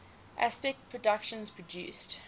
aspect productions produced